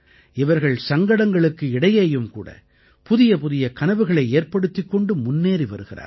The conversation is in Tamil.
இவர்கள் சங்கடங்களுக்கு இடையேயும் கூட புதியபுதிய கனவுகளை ஏற்படுத்திக் கொண்டு முன்னேறி வருகிறார்கள்